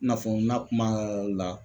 I n'a fɔ nna kuma la